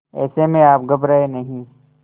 ऐसे में आप घबराएं नहीं